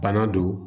Bana don